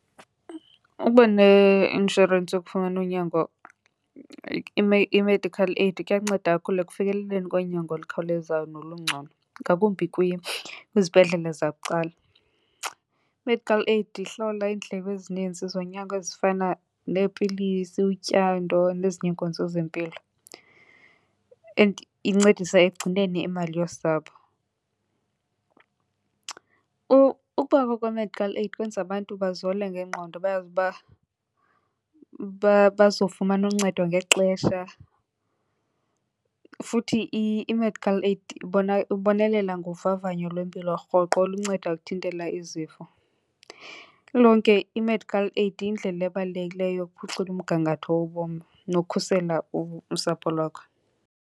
Ukuba neinshorensi yokufumana unyango i-medical aid kuyanceda kakhulu ekufikeleleni konyango olukhawulezayo nolungcono, ngakumbi kwizibhedlele zabucala. I-medical aid ihlawula iindleko ezininzi zonyango ezifana neepilisi, utyando nezinye iinkonzo zempilo and incedisa ekugcineni imali yosapho. Ukubakho kwe-medical aid kwenza abantu bazole ngengqondo bayazi uba bazofumana uncedo ngexesha, futhi i-medical aid ibonelela ngovavanyo lwempilo rhoqo olunceda ukuthintela izifo. Lilonke i-medical aid yindlela ebalulekileyo yokuphucula umgangatho wobomi nokukhusela usapho lwakho.